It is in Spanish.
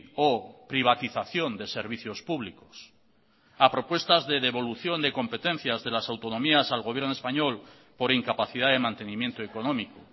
o privatización de servicios públicos a propuestas de devolución de competencias de las autonomías al gobierno español por incapacidad de mantenimiento económico